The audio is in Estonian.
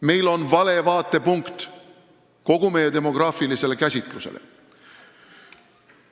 Meil on vale vaatepunkt kogu meie demograafilisele käsitlusele.